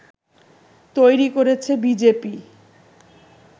তৈরি করেছে বিজেপি